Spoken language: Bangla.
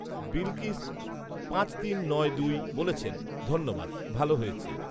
বিলকিছ পাঁচ তিন নয় দুই বলেছেন, ধন্যবাদ, ভাল হয়েছে